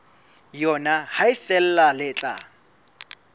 yona ha feela le tla